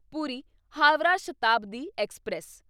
Puri Howrah Shatabdi express